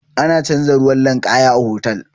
Ana canza ruwan ninkaya a hotal.